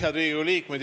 Head Riigikogu liikmed!